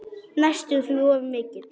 Næstum því of mikill.